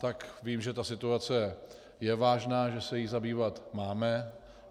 Tak vím, že ta situace je vážná, že se jí zabývat máme.